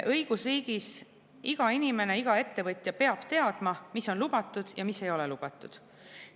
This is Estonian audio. Õigusriigis peab iga inimene ja iga ettevõtja teadma, mis on lubatud ja mis ei ole lubatud.